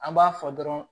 An b'a fɔ dɔrɔn